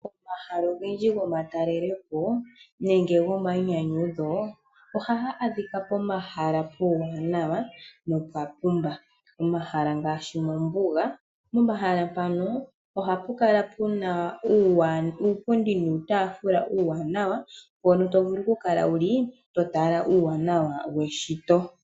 Omahala ogendji gomatalelepo nenge gomainyanyudho ohaga adhika pomahala omawanawa nopwa pumba. Omahala ngaashi mombuga, pomahala mpano ohapi adhika uupundi uuwanawa mpono tovulu okukala wuli totala uuwanawa weshito.